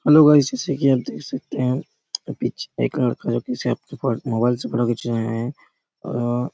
hello guys जैसा की आप देख सकते है पीछे एक लड़का पीछे मोबाइल से फोटो खींच रहे रहे हैं और--